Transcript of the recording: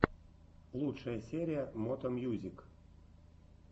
лучшая серия мото мьюзик